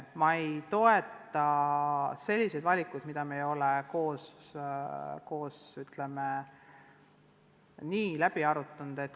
Ma ei toeta selliseid valikuid, mida me ei ole enne koos korralikult arutanud.